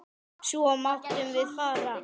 Svo máttum við fara.